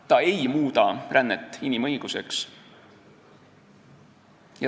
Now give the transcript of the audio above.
Ta ei muuda rännet inimõiguseks.